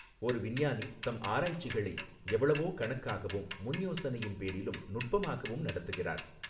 ஒரு விஞ்ஞானி தம் ஆராய்ச்சிகளை எவ்வளவோ கணக்காகவும் முன் யோசனையின் பேரிலும் நுட்பமாகவும் நடத்துகிறார்.